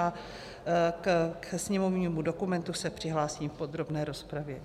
A ke sněmovnímu dokumentu se přihlásím v podrobné rozpravě.